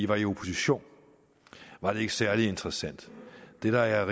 var i opposition var det ikke særlig interessant det der er